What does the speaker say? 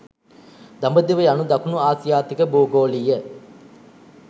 'දඹදිව' යනු දකුණු ආසියාතික භූගෝලීය